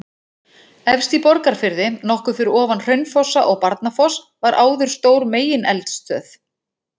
Efst í Borgarfirði, nokkuð fyrir ofan Hraunfossa og Barnafoss var áður stór megineldstöð.